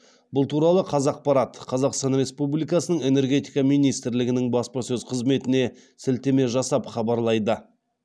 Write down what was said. бұл туралы қазақпарат қазақстан республикасының энергетика министрлігінің баспасөз қызметіне сілтеме жасап хабарлайды